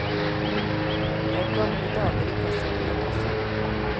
Det er gamle damer i kassakøen også.